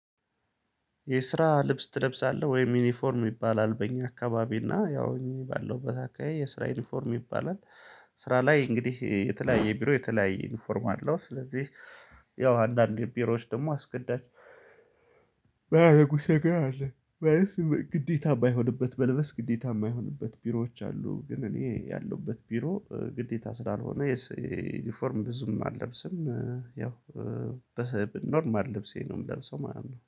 የስራ ልብስ ትለብሳለህ ወይም ዩኒፎርም ይባላል በእኛ አካባቢ እና ያው እኔ ባለሁበት አካባቢ የስራ ዩኒፎርም ይባላል። ስራ ላይ እንግዲህ የተለያየ ቢሮ የተለያየ ዩኒፎርም አለው ስለዚህ ያው አንዳንድ ቢሮዎች ደግሞ አስገዳጅ ማያደርጉት ነገር አለ። ግዴታ ባይሆንበት በልበስ ግዴታ የማይሆንበት ቢሮዎች አሉ ግን እኔ ያለሁበት ቢሮ ግዴታ ስላልሆነ የዩኒፎርም ብዙም አልለብስም። ያው በኖርማል ልብሴ ነው የምለው ሰው ማለት ነው